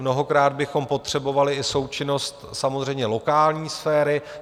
Mnohokrát bychom potřebovali i součinnost samozřejmě lokální sféry.